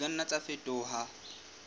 di ka nna tsa fetoha